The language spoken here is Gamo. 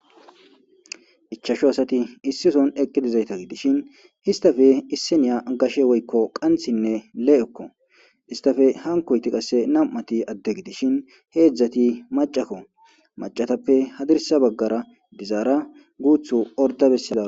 ichasho asati issison eqqi dizayta gidishin histafe isseniya gashe woykko qanthinne le7ekko istafe hankoyti qasse nam7ati adde gidishin heedzdzati macakko macatappe hadirsa baggara dizaara guuthu orda bessala